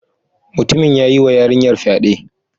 Mutumin ya yi wa yarinyar fyaɗe